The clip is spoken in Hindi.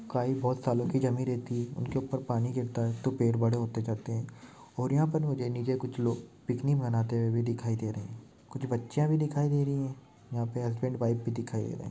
काई बहुत सालों की जमी रहती है उनके ऊपर पानी गिरता है तो पेड़ बड़े होते जाते है और यहाँ पर मुझे नीचे कुछ लोग पिकनिक मनाते हुए दिखाई दे रहे हैं कुछ बच्चिया भी दिखाई दे रही है यहाँ पे हसबंड वाइफ भी दिखाई दे रहे।